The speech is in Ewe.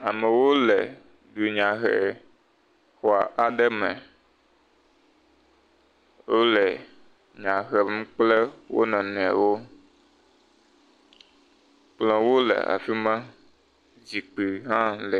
amewo le dunyahehe xɔ aɖe me wóle dunya hem kple wonɔniɔwo ke wóle afima zikpi hã le